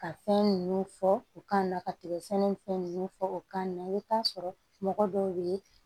Ka fɛn nunnu fɔ u kan na ka tigɛ sɛnɛ ni fɛn nunnu fɔ u ka na i bi t'a sɔrɔ mɔgɔ dɔw be yen